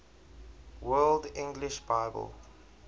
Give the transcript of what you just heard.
world english bible